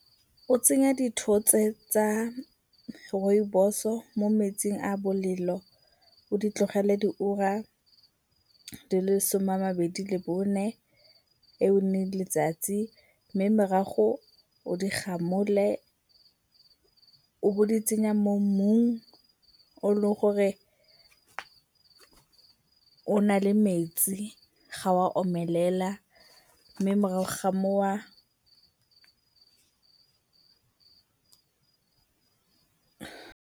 O tsenya dithotse tsa Rooibos-o mo metsing a bolelo o di tlogele diura di le some a mabedi le bone eo e leng letsatsi. Mme morago o digamole o bo di tsenya mo mmung o leng gore o na le metsi ga oa omelela mme morago ga foo .